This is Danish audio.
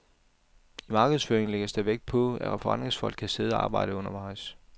I markedsføringen lægges der vægt på, at forretningsfolk kan sidde og arbejde undervejs.